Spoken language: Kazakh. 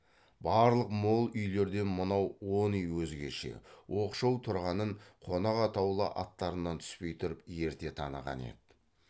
барлық мол үйлерден мынау он үй өзгеше оқшау тұрғанын қонақ атаулы аттарынан түспей тұрып ерте таныған еді